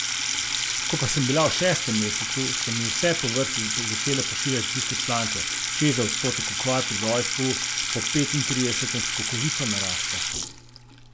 Ko pa sem bila v šestem mesecu, so mi vse po vrsti začele pošiljati tiste članke, češ da odstotek okvar pri rojstvu po petintridesetem skokovito naraste.